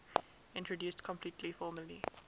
introduced completely formally